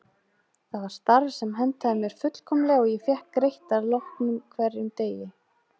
Það var starf sem hentaði mér fullkomlega og ég fékk greitt að loknum hverjum degi.